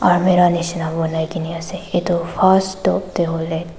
almirah nishina banaikena ase itu first top teh hoile--